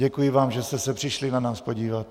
Děkuji vám, že jste se přišli na nás podívat.